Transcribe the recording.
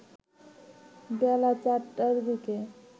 বেলা ৪টার দিকে